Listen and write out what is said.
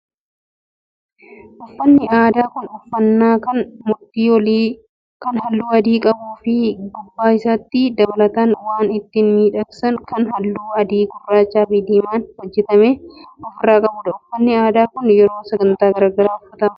Uffanni aadaa kun uffannaa kan mudhii olii kan halluu adii qabuu fi gubbaa isaatti dabalataan waan ittiin miidhagsan kan halluu adii, gurraachaa fi diimaan hojjatame ofirraa qabudha. Uffanni aadaa kun yeroo sagantaa garaagaraa uffatama.